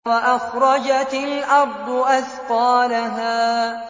وَأَخْرَجَتِ الْأَرْضُ أَثْقَالَهَا